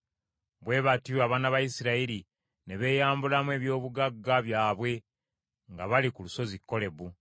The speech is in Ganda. Bwe batyo abaana ba Isirayiri ne beeyambulamu eby’obugagga byabwe nga bali ku lusozi Kolebu.